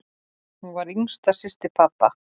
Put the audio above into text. Hún var yngsta systir pabba.